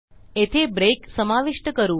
येथे ब्रेक समाविष्ट करू